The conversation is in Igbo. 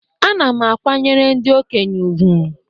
Ana m akwanyere ndị okenye ùgwù